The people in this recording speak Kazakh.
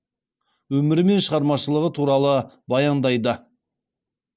өмірі мен шығармашылығы туралы баяндайды